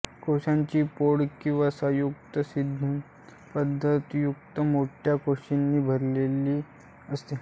कोशाची पोकळी वसायुक्त स्निग्ध पदार्थयुक्त मोठ्या कोशिकांनी भरलेली असते